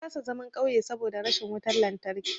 Na kasa zaman ƙauye saboda rashin wutan lantarki.